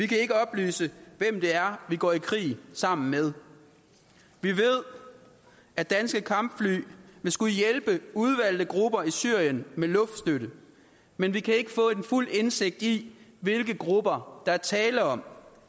kan ikke oplyse hvem det er vi går i krig sammen med vi ved at danske kampfly vil skulle hjælpe udvalgte grupper i syrien med luftstøtte men vi kan ikke få fuld indsigt i hvilke grupper der er tale om